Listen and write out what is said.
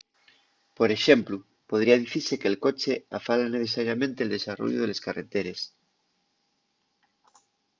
por exemplu podría dicise que’l coche afala necesariamente’l desarrollu de les carreteres